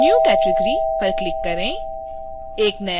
new category पर click करें